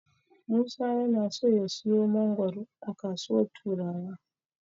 Musa yana so ya siyo mangoro a kasuwar Turawa.